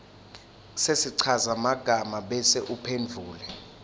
sesichazamagama bese uphendvula